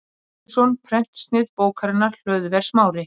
Pétursson prentsnið bókarinnar, Hlöðver Smári